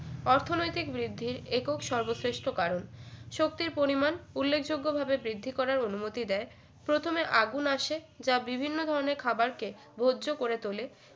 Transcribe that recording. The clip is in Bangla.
অর্থনৈতিক বৃদ্ধির একক সর্বশ্রেষ্ঠ কারণ শক্তির পরিমাণ উল্লেখযোগ্যভাবে বৃদ্ধি করার অনুমতি দেয় প্রথমে আগুন আসে যা বিভিন্ন ধরনের খাবার কে ভোজ্য করে তোলে